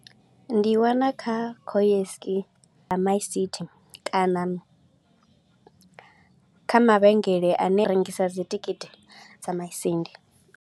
Ndi i wana kha ya kana kha mavhengele a ne a rengisa dzi thikhithi dza Masindi.